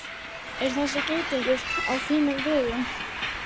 Er þessi geitungur á þínum vegum?